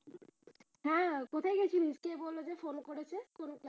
হ্যাঁ কোথায় গেলেছিলি, কে বললো যে ফোন করেছে?